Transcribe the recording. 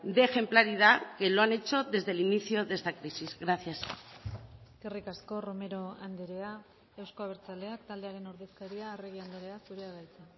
de ejemplaridad que lo han hecho desde el inicio de esta crisis gracias eskerrik asko romero andrea euzko abertzaleak taldearen ordezkaria arregi andrea zurea da hitza